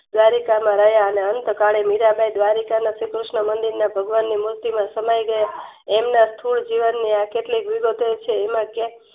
દ્વારિકામાં રહ્યા અને અંત કાલે મીરાંબાઈ દ્વારિકામાં ભગવાન શ્રી કૃષ્ણ નીમુર્તિમાં સમાય ગયા એમના થોર જીવનની આ કેટલીક વિગતો છે.